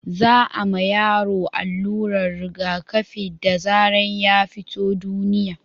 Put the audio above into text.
za a ma yaro alluran rigaƙafi da zaran ya fito duniya